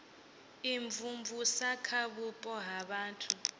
imvumvusa kha vhupo ha vhathu